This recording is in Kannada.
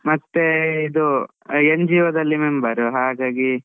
ಮತ್ತೆ ಇದು NGO ದಲ್ಲಿ member ಹಾಗಾಗಿ.